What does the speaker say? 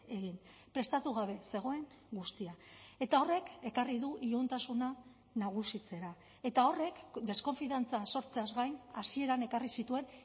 egin prestatu gabe zegoen guztia eta horrek ekarri du iluntasuna nagusitzera eta horrek deskonfiantza sortzeaz gain hasieran ekarri zituen